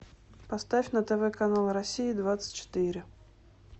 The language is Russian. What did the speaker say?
поставь на тв канал россия двадцать четыре